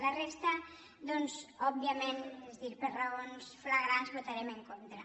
a la resta doncs òbviament és a dir per raons flagrants hi votarem en contra